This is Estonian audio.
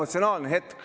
Austatud juhataja!